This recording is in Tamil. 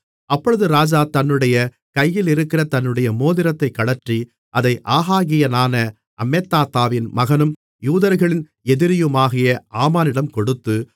அப்பொழுது ராஜா தன்னுடைய கையிலிருக்கிற தன்னுடைய மோதிரத்தைக் கழற்றி அதை ஆகாகியனான அம்மெதாத்தாவின் மகனும் யூதர்களின் எதிரியுமாகிய ஆமானிடம் கொடுத்து